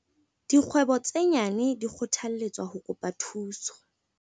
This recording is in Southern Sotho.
Dikgwebo tse nyane di kgothalletswa ho kopa thuso